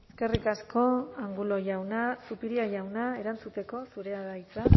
eskerrik asko angulo jauna zupiria jauna erantzuteko zurea da hitza